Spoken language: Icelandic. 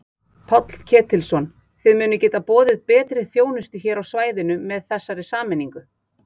Páll Ketilsson: Þið munið geta boðið betri þjónustu hér á svæðinu með þessari sameiningu?